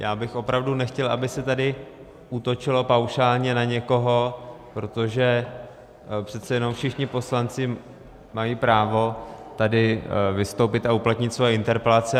Já bych opravdu nechtěl, aby se tady útočilo paušálně na někoho, protože přece jenom všichni poslanci mají právo tady vystoupit a uplatnit svoje interpelace.